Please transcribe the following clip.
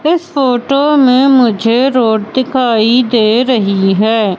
इस फोटो में मुझे रोड दिखाई दे रही हैं।